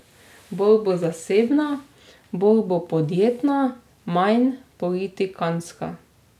Bolj bo zasebna, bolj bo podjetna, manj politikantska.